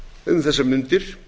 um þessar mundir